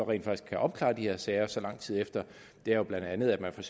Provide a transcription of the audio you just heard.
rent faktisk kan opklare de her sager så lang tid efter jo blandt andet er at man for